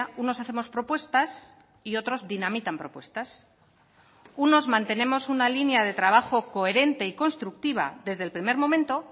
unos hacemos propuestas y otros dinamitan propuestas unos mantenemos una línea de trabajo coherente y constructiva desde el primer momento